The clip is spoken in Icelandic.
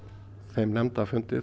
þeim nefndarfundi